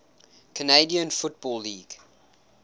canadian football league